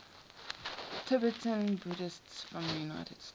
tibetan buddhists from the united states